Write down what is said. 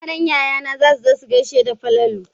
Yaran yayana za su zo su gashe da Falalu.